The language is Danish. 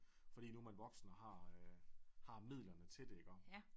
Fordi nu man voksen og har øh har midlerne til det iggå